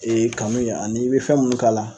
kanu in ani i bi fɛn munnu k'a la